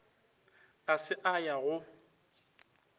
a se a ya go